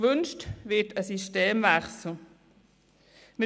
Es wird ein Systemwechsel gewünscht.